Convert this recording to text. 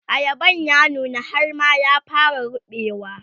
ayaban ya nuna har ma ya fara ruɓewa